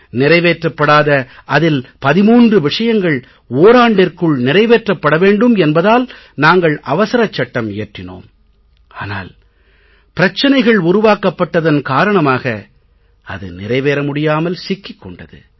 நிறைவேற்றப்படாத அதில் 13 விஷயங்கள் ஓராண்டிற்குள் நிறைவேற்றப்பட வேண்டும் என்பதால் நாங்கள் அவசரச் சட்டம் இயற்றினோம் ஆனால் பிரச்சனைகள் உருவாக்கப்பட்டதன் காரணமாக அது நிறைவேற முடியாமல் சிக்கிக் கொண்டது